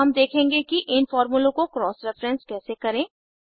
अब हम देखेंगे कि इन फॉर्मूलों को क्रॉस रेफेरेंस कैसे करें